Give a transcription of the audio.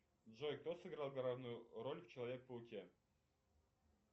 джой кто сыграл главную роль в человеке пауке